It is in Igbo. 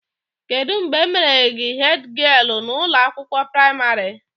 Kedụ mgbe e mere gị hedgialụ na ụlọ akwụkwọ pramarị?